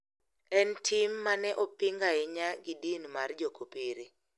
En tim ma ne oping ahinya gi din mar jokopere.